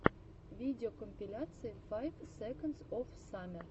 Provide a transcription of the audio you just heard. видеокомпиляция файв секондс оф саммер